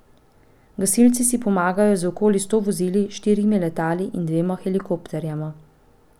Gasilci si pomagajo z okoli sto vozili, štirimi letali in dvema helikopterjema.